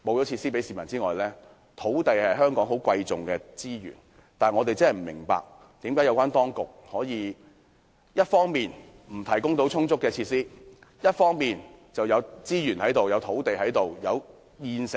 土地是香港十分貴重的資源，我真的不明白，當局為何一方面不提供足夠設施，另一方面不開放現有資源、土地或設施？